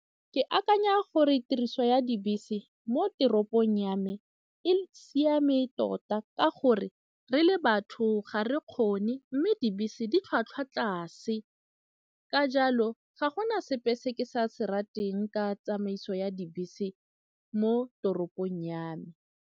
Ke akanya gore tiriso ya dibese mo toropong ya me e siame tota ka gore re le batho ga re kgone mme dibese di tlhwatlhwa tlase ka jalo ga go na sepe se ke sa se rateng ka tsamaiso ya dibese mo toropong ya me.